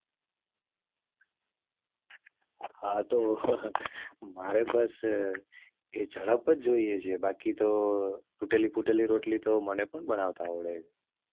હા તો મારે બસ એ જડપ જ જોઈએ છે બાકી તો તૂટેલી ફૂટેલી રોટલી તો મને પણ બનાવતા આવડે છે.